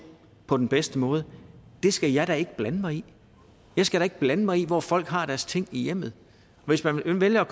på den bedste måde det skal jeg da ikke blande mig i jeg skal da ikke blande mig i hvor folk har deres ting i hjemmet hvis man vælger at